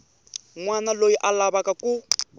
wana loyi a lavaka ku